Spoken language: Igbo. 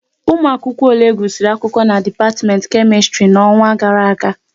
Ụmụ akwụkwọ ole gusiri akwụkwọ na dipatiment Kemistri n'ọnwa gara aga